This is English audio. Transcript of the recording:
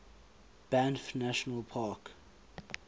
banff national park